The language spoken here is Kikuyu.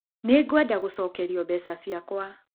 Nĩ ngwenda gũcokerĩo mbeca ciakwa